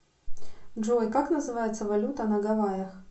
джой как называется валюта на гавайях